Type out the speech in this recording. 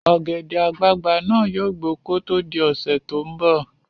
Ọ̀gẹ̀dẹ̀ àgbagbà náà yóò gbó kó tó di ọ̀sẹ́ tó ń bọ̀